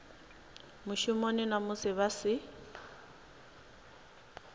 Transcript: mushumoni na musi vha si